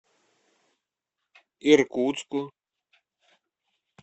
иркутску